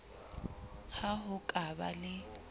ha ho ka ba le